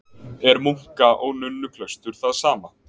Er munka- og nunnuklaustur það sama?